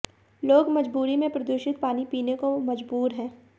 लोग मजबूरी में प्रदूषित पानी पीने को मजबूर हैं